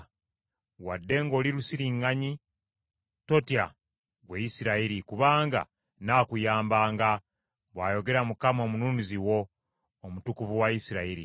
Wadde ng’oli lusiriŋŋanyi totya, ggwe Isirayiri, kubanga nnaakuyamba,” bw’ayogera Mukama Omununuzi wo, Omutukuvu wa Isirayiri.